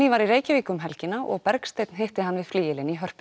var í Reykjavík um helgina og Bergsteinn hitti hann við flygilinn í Hörpu